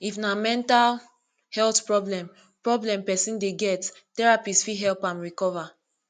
if na mental health problem problem person dey get therapist fit help am recover